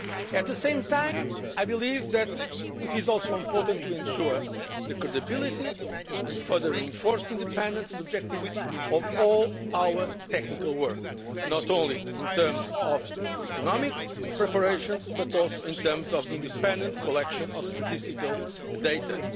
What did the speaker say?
At the same time I believe that it is also important to ensure the credibility and further reinforce the independence and objectivity of all our technical work, not only in terms of economic preparations, but also in terms of the independent collection of statistical